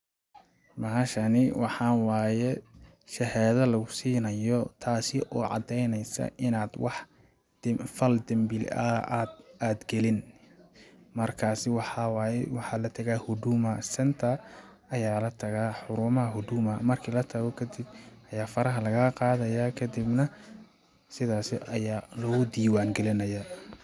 Bahashani waxaa waaye shahaada lagu sinaayo taasi oo cadeyneysa inaad wax fal dambi aad galin ,markaasi waxaa waaye waxaa la tagaa huduma centre ayaa la tagaa xaruumaha huduma marki la tago kadib ayaa faraha lagaa qaadaya kadibna sidaasi ayaa laguu diiwan galinayaa.